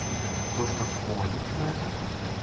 то что входит в это